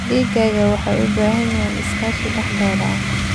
Digaagga waxay u baahan yihiin iskaashi dhexdooda ah.